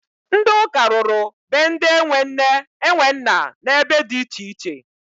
Ndị ụka rụrụ be ndị e nwe nne e nwe nna n'ebe dị iche iche.